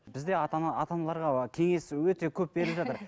бізде ата ана ата аналарға кеңес өте көп беріліп жатыр